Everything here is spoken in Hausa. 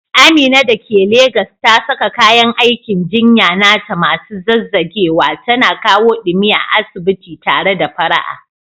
Amina da ke Legas ta saka kayan aikin jinya nata masu zazzagewa, tana kawo ɗumi a asibiti tare da fara'a.